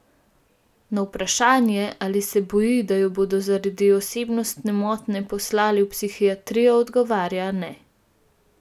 Na vprašanje, ali se boji, da jo bodo zaradi osebnostne motnje poslali v psihiatrijo, odgovarja: 'Ne.